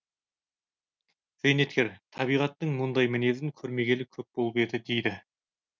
зейнеткер табиғаттың мұндай мінезін көрмегелі көп болып еді дейді